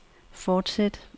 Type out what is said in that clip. fortsæt